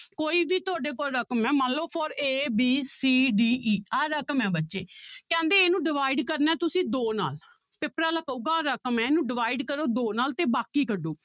ਕੋਈ ਵੀ ਤੁਹਾਡੇ ਕੋਲ ਰਕਮ ਹੈ ਮੰਨ ਲਓ for a b c d e ਆਹ ਰਕਮ ਹੈ ਬੱਚੇ ਕਹਿੰਦੇ ਇਹਨੂੰ divide ਕਰਨਾ ਹੈ ਤੁਸੀਂ ਦੋ ਨਾਲ ਪੇਪਰ ਵਾਲਾ ਕਹੇਗਾ ਰਕਮ ਹੈ ਇਹਨੂੰ divide ਕਰੋ ਦੋ ਨਾਲ ਤੇ ਬਾਕੀ ਕੱਢੋ